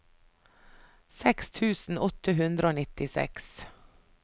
seks tusen åtte hundre og nittiseks